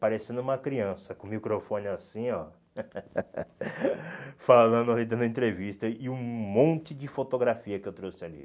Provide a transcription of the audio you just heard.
Parecendo uma criança, com o microfone assim, ó. Falando ali, dando entrevista e e um monte de fotografia que eu trouxe ali.